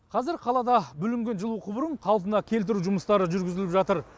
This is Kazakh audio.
қазір қалада бүлінген жылу құбырын қалпына келтіру жұмыстары жүргізіліп жатыр